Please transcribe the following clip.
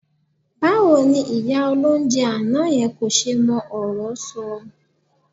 Báwo ni ìyá olóunjẹ àná yẹn kò ṣe mọ ọ̀rọ́ sọ?